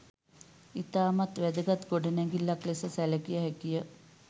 ඉතාමත් වැදගත් ගොඩනැගිල්ලක් ලෙස සැලකිය හැකිය.